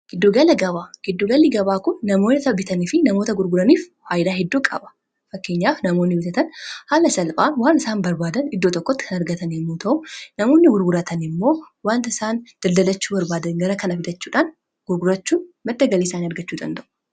Giddugalli gabaa kun namoota bitanii fi namoota gurguraniif faayidaa hedduu qaba. Fakkeenyaaf namoonni bitatan haala salphaan waan isaan barbaadan iddoo tokkotti kan argatani yommuu ta'u namoonni gurguratani immoo wanta isaan daldalachuu barbaadan gara kana fidachuudhaan gurgurachuun madda galii isaanii argachuu danda'u.